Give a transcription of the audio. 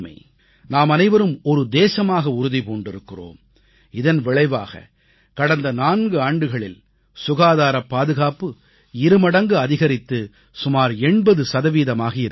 நாமனைவரும் ஒரு தேசமாக உறுதி பூண்டிருக்கிறோம் இதன் விளைவாக கடந்த 4 ஆண்டுகளில் சுகாதார பாதுகாப்பு இருமடங்கு அதிகரித்து சுமார் 80 சதவீதமாகி இருக்கிறது